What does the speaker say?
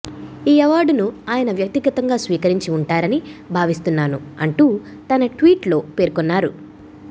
ఈ అవార్డును ఆయన వ్యక్తిగతంగా స్వీకరించి ఉంటారని భావిస్తున్నాను అంటూ తన ట్వీట్లో పేర్కొన్నారు